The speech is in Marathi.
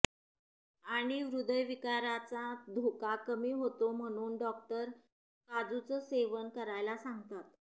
आणि हृदयविकाराचा धोका कमी होतो म्हणून डॉक्टर काजुचं सेवन करायला सांगतात